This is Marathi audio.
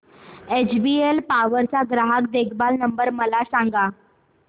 एचबीएल पॉवर चा ग्राहक देखभाल नंबर मला सांगा